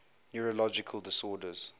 neurological disorders